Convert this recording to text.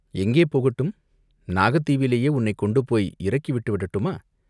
எங்கே போகட்டும் நாகத் தீவிலேயே உன்னைக் கொண்டுபோய் இறக்கி விட்டு விடட்டுமா?